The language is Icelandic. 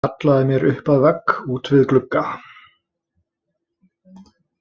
Ég hallaði mér upp að vegg út við glugga.